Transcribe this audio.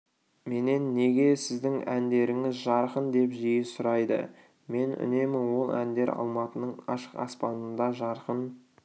менен неге сіздің әндеріңіз жарқын деп жиі сұрайды мен үнемі ол әндер алматының ашық аспанында жарқын